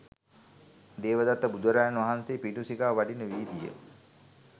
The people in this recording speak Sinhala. දේවදත්ත බුදුරජාණන් වහන්සේ පිඬු සිඟා වඩින වීදිය